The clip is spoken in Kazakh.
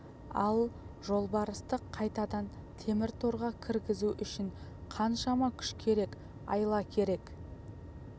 ал жолбарысты қайтадан темір торға кіргізу үшін қаншама күш керек айла керек